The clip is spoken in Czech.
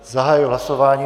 Zahajuji hlasování.